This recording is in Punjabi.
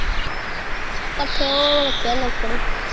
ਪੱਠੇ ਓਘ ਰਖਿਆ ਨੌਕਰ ਇਕ